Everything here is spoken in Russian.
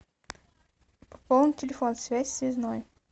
пополнить телефон связь связной